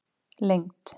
lengd